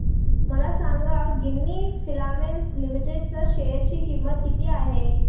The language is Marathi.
मला सांगा गिन्नी फिलामेंट्स लिमिटेड च्या शेअर ची किंमत किती आहे